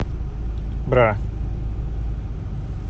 бра